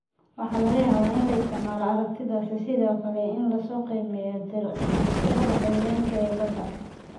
Waxaa laga yaabaa in la isticmaalo aragtidaas sida kale si loo qiimeeyo tirada xayawaanka kale ee badda.